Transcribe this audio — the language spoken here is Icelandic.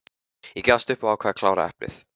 Ég gafst upp og ákvað að klára eplið.